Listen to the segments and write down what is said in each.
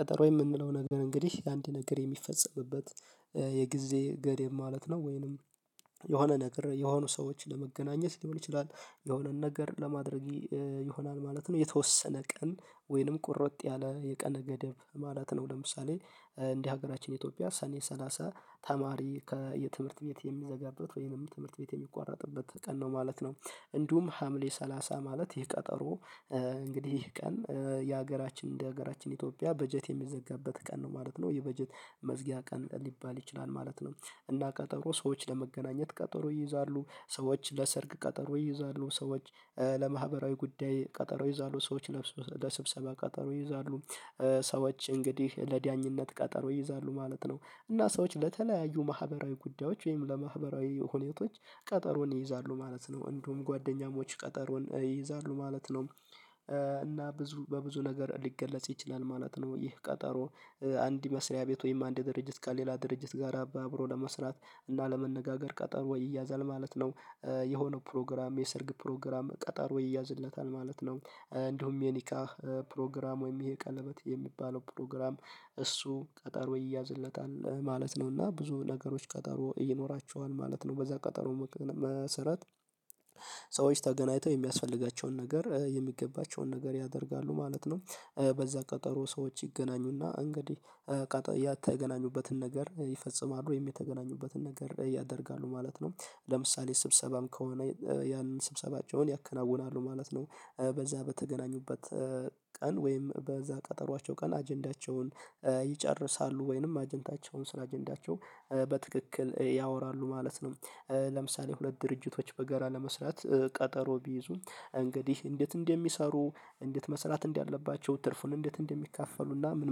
ቀጠሮ የምንለው ነገር እንግዲህ አንድ ነገር የሚፈጸምበት የጊዜ ገደብ ማለት ነው ወይንም የሆነ ነገር የሆኑ ሰዎችን ለመገናኘት ሊሆን ይችላል የሆነን ነገር ለማድረግ ይሆናል ማለት ነው። የተወሰነ ቀን ወይንም ቁርጥ ያለ የቀነ ገደብ ማለት ነው። ለምሳሌ እንደ ሀገራችን ኢትዮጵያ ሰኔ ሰላሳ ተማሪ ከየትምህርት ቤት የሚዘጋበት ወይንም ትምህርት ቤት የሚቋረጥበት ቀን ነው ማለት ነው። እንዲሁም ሀምሌ ሰላሳ ማለት ይህ ቀጠሮ እንግዲህ ይህ ቀን የሀገራችን እንደ ሀገራችን ኢትዮጵያ በጀት የሚዘጋበት ቀን ነው ማለት ነው። የበጀት መዝጊያ ቀን ሊባል ይችላል ማለት ነው። እና ቀጠሮ ሰዎች ለመገናኘት ቀጠሮ ይይዛሉ ሰዎች ለሰርግ ቀጠሮ ይይዛሉ ሰዎች ለማህበራዊ ጉዳይ ቀጠሮ ይይዛሉ ሰዎች ለብሶ ለስብሰባ ቀጠሮ ሰዎች ለዳኝነት ቀጠሮ ይይዛሉ ማለት ነው። እና ሰዎች ለተለያዩ ማህበራዊ ጉዳዮች ወይም ለማህበራዊ ሁኔቶች ቀጠሮን ይይዛሉ ማለት ነው እንደውም ጓደኛሞች ቀጠሮን ይይዛሉ ማለት ነው። እና ብዙ በብዙ ነገር ሊገለጽ ይችላል ማለት ነው ይህ ቀጠሮ አንድ መስሪያ ቤት ወይም አንድ ድርጅት ከሌላ ድርጅት ጋር አብሮ ለመስራት እና ለመነጋገር ቀጠሮ ይያዛል ማለት ነው። የሆነው ፕሮግራም የሰርግ ፕሮግራም ቀጠሮ ወይ ይያዝለታል ማለት ነው እንዲሁም የኒካ ፕሮግራም ወይም ይሄ ቀለበት የሚባለው ፕሮግራም እሱ ቀጠሮ ይያዝለታል ማለት ነው። እና ብዙ ነገሮች ቀጠሮ ይኖሯቸዋል ማለት ነው በዛ ቀጠሮ መሰረት ሰዎች ተገናኝተው የሚያስፈልጋቸውን ነገር የሚገባቸውን ነገር ያደርጋሉ ማለት ነው። በዛ ቀጠሮ ሰዎች ይገናኙና እንግዲህ የተገናኙበትን ነገር ይፈጽማሉ ወይም የተገናኙበትን ነገር ያደርጋሉ ማለት ነው። ለምሳሌ ስብሰባም ከሆነ ያንን ስብሰባቸውን ያከናውናሉ ማለት ነው። በዛ በተገናኙበት ቀን ወይም በዛ ቀጠሮአቸው ቀን አጀንዳቸውን ይጨርሳሉ ወይንም አጀንዳቸውን ስለ አጀንዳቸው በትክክል ያወራሉ ማለት ነው። ለምሳሌ ሁለት ድርጅቶች በገራ ለመስራት ቀጠሮ ቢይዙም እንግዲህ እንዴት እንደሚሰሩ እንዴት መስራት እንዳለባቸው ትርፉን እንዴት እንደሚካፈሉና ምን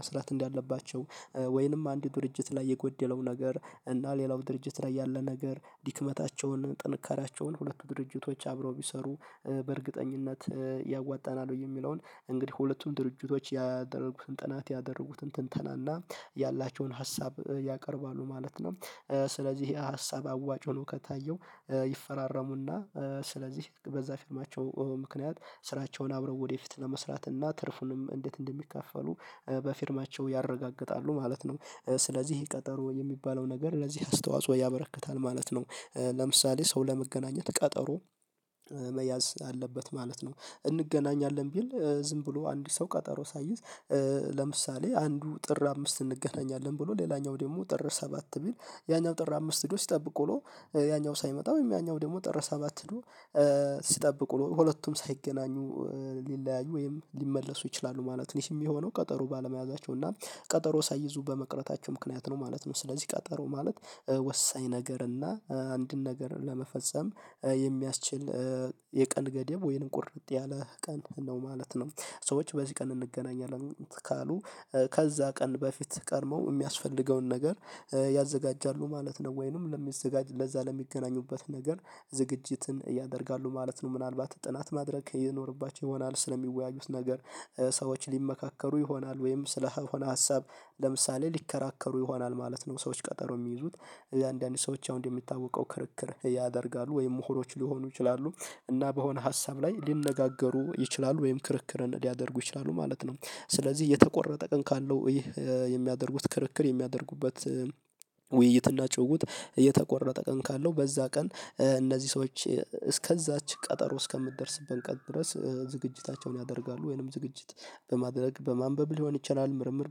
መስራት እንዳለባቸው ወይንም አንድ ድርጅት ላይ የጎደለው ነገር እና ሌላው ድርጅት ላይ ያለ ነገር ድክመታቸውን ጥንካሬያቸውን ሁለቱ ድርጅቶች አብረው ቢሰሩ በእርግጠኝነት ያዋጣናል ብዬ የሚለውን እንግዲህ ሁለቱም ድርጅቶች ያደረጉትን ጥናት ያደረጉትን ትንተናና ያላቸውን ሀሳብ ያቀርባሉ ማለት ነው። ስለዚህ ይሄ ሀሳብ አዋጭ ሆኖ ከታየው ይፈራረሙና ስለዚህ በዛ ፊርማቸው ምክንያት ስራቸውን አብረው ወደፊት ለመስራት እና ትርፉንም እንዴት እንደሚካፈሉ በፊርማቸው ያረጋግጣሉ ማለት ነው። ስለዚህ ቀጠሮ የሚባለው ነገር ለዚህ አስተዋጽኦ ያበረክታል ማለት ነው። ለምሳሌ ሰው ለመገናኘት ቀጠሮ መያዝ አለበት ማለት ነው። እንገናኛለን ቢል ዝም ብሎ አንድ ሰው ቀጠሮ ሳይዝ ለምሳሌ አንዱ ጥር አምስት እንገናኛለን ብሎ ሌላኛው ደግሞ ጥር ሰባት ቢል ያኛው ጥር አምስት ሂዶ ሲጠብቅ ውሎ ያኛው ሳይመጣ ያኛው ደግሞ ጥር ሰባት ሄዶ ሲጠብቁ ሁለቱም ሳይገናኙ ሊለያዩ ወይም ሊመለሱ ይችላሉ ማለት ነው። ትንሽ የሚሆነው ቀጠሮ ባለመያዛቸው እና ቀጠሮ ሳይዙ በመቅረታቸው ምክንያት ነው ማለት ነው። ስለዚህ ቀጠሮ ማለት ወሳኝ ነገር እና አንድን ነገር ለመፈጸም የሚያስችል የቀን ገደብ ወይንም ቁርጥ ያለ ቀን ነው ማለት ነው። ሰዎች በዚህ ቀን እንገናኛለን ካሉ ከዛ ቀን በፊት ቀድመው የሚያስፈልገውን ነገር ያዘጋጃሉ ማለት ነው ወይንም ለሚዘጋጅ ለዛ ለሚገናኙበት ነገር ዝግጅትን ያደርጋሉ ማለት ነው። ምናልባት ጥናት ማድረግ ይኖርባቸው ይሆናል ስለሚወያዩት ነገር ሰዎች ሊመካከሩ ይሆናል ወይም ስለሆነ ሀሳብ ለምሳሌ ሊከራከሩ ይሆናል ማለት ነው። ሰዎች ቀጠሮ የሚይዙት እያንዳንዱ ሰዎች አሁን እንደሚታወቀው ክርክር ያደርጋሉ ወይም ምሁሮች ሊሆኑ ይችላሉ እና በሆነ ሀሳብ ላይ ሊነጋገሩ ይችላሉ ወይም ክርክርን ሊያደርጉ ይችላሉ ማለት ነው። ስለዚህ የተቆረጠ ቀን ካለው ይሄ የሚያደርጉት ክርክር የሚያደርጉበት ውይይትና ጭውውት የተቆረጠ ቀን ካለው በዛ ቀን እነዚህ ሰዎች እስከዛች ቀጠሮ እስከምትደርስበት ቀን ድረስ ዝግጅታቸውን ያደርጋሉ ወይንም ዝግጅት በማድረግ በማንበብ ሊሆን ይችላል ምርምር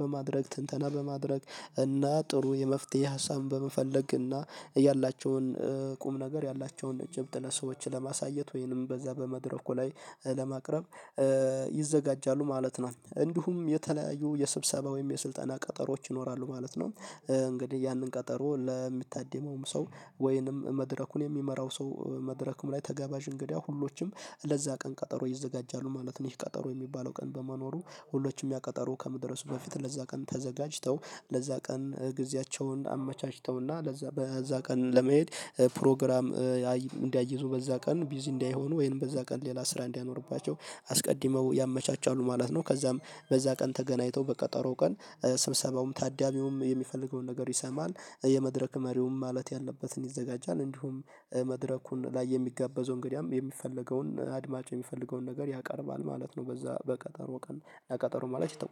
በማድረግ ትንተና በማድረግ እና ጥሩ የመፍትሄ ሀሳብን በመፈለግ እና ያላቸውን ቁም ነገር ያላቸውን ጭብጥ ለሰዎች ለማሳየት ወይንም በዛ በመድረኩ ላይ ለማቅረብ ይዘጋጃሉ ማለት ነው። እንዲሁም የተለያዩ የስብሰባ ወይም የስልጠና ቀጠሮዎች ይኖራሉ ማለት ነው። እንግዲህ ያንን ቀጠሮ ለሚታደመውም ሰው ወይንም መድረኩን የሚመራው ሰው መድረኩም ላይ ተጋባዥ እንግዳ ሁሎችም ለዛ ቀን ቀጠሮ ይዘጋጃሉ ማለት ነው። ይህ ቀጠሮ የሚባለው ቀን በመኖሩ ሁሎችም ያቀጠሩ ከመድረሱ በፊት ለዛ ቀን ተዘጋጅተው ለዛ ቀን ጊዜያቸውን አመቻችተውና ለዛ በዛ ቀን ለመሄድ ፕሮግራም እንዳይዙ በዛ ቀን ቢዚ እንዳይሆኑ ወይም በዛ ቀን ሌላ ስራ እንዳይኖርባቸው አስቀድመው ያመቻቻሉ ማለት ነው። ከዛም በዛ ቀን ተገናኝተው በቀጠሮ ቀን ስብሰባውም ታዳሚውም የሚፈልገውን ነገር ይሰማል የመድረክ መሪውም ማለት ያለበትን ይዘጋጃል እንዲሁም መድረኩን ላይ የሚጋበዘው እንግዳም የሚፈለገውን አድማጭ የሚፈልገውን ነገር ያቀርባል ማለት ነው። በዛ በቀጠሮ ቀን ለቀጠሮ ማለት ተቆርጧል